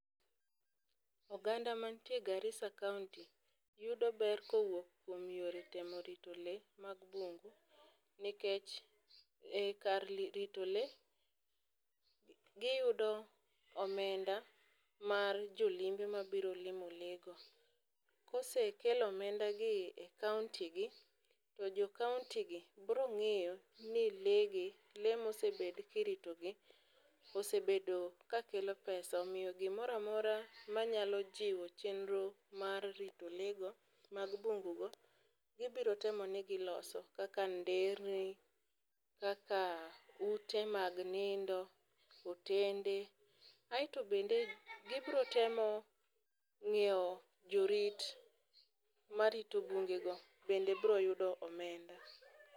Oganda mantiere Garissa county yudo ber kowuok kuom yore temo rito lee mag bungu, nikech e kar rito lee gi yudo omenda mar jolimbe mabiro limo lee go. Kose kel omendagi e contygi to jo county gi biro ng'iyo ni lee gi lee mosebed ki ritogi osebedo ka kelo pesa omiyo gimora amora manyalo jiwo chenro mar rito leego mag bungugo gi biro temo nigi loso kaka nderni, kaka ute mag nindo, otende. Aeto bende gi biro temo ng'iyo jorit marito bungego bende biro yudo omenda.